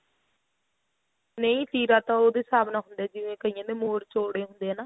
ਨਹੀਂ ਤੀਰਾ ਤਾਂ ਉਹਦੇ ਸਾਬ ਨਾਲ ਹੁੰਦਾ ਜਿਵੇਂ ਕਈਆਂ ਦੇ ਮੋਰ ਚੋੜੇ ਹੁੰਦੇ ਏ ਨਾ